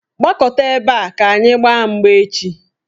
Gbakọta ebe a ka anyị gbaa mgba echi!